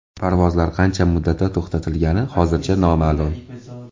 Parvozlar qancha muddatga to‘xtatilgani hozircha noma’lum.